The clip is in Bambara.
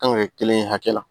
Kan ka kɛ kelen ye hakɛ la